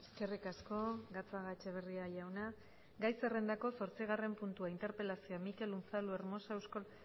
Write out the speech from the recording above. eskerrik asko gatzagaetxebarria jauna gai zerrendako zortzigarren puntua interpelazioa mikel unzalu hermosa euskal